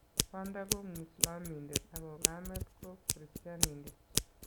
Kwanda ko mwislamindet ako kamet ko kristianindet.